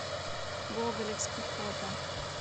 гоголевский фото